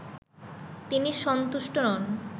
তিনি সন্তুষ্ট নন